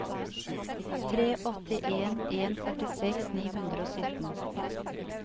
tre åtte en en førtiseks ni hundre og sytten